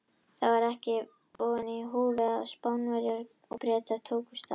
Það var því ekki lítið í húfi þegar Spánverjar og Bretar tókust á.